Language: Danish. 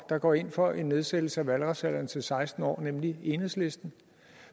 der går ind for en nedsættelse af valgretsalderen til seksten år nemlig enhedslisten